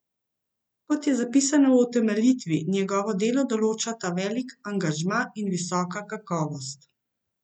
Kot je zapisano v utemeljitvi, njegovo delo določata velik angažma in visoka kakovost.